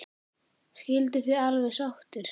Skilduð þið alveg sáttir?